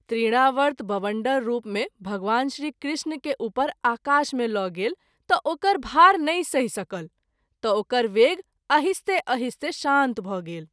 तृणावर्त बबंडर रूप मे भगवान श्री कृष्ण के उपर आकाश मे ल’ गेल त’ ओकर भार नहिं सहि सकल त’ ओकर वेग अहिस्ते अहिस्ते शान्त भ’ गेल।